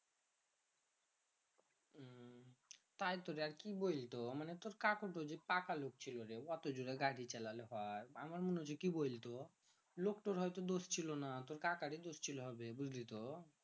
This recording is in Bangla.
তাই তো রে আর কি বৈলতো মানে তোর কাকুর তো মানে টাকার লোভ ছিল রে অটো জোরে গাড়ি চালালে হয় আমার মনে কি বৈলতো লোকতার দোষ ছিলনা তোর কাকারে দোষ ছিলো হবে বুঝলি তো